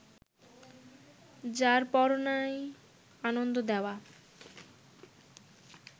যারপরনাই আনন্দ দেওয়া